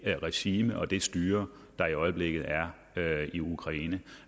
regime og det styre der i øjeblikket er i ukraine